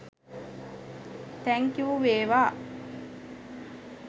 Thank you වේවා!